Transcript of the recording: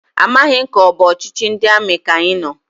Amaghị m ka ọbụ ọchịchị ndị amị ka anyị nọ,